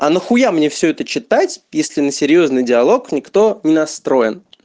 а нахуя мне все это читать если на серьёзный диалог никто не настроен